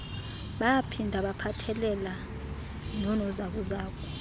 baphinda baphathelela nonozakuzaku